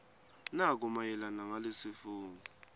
nako mayelana nalesifungo